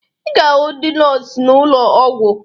Ị ga-ahụ ndị nọọsụ n'ụlọ ọgwụ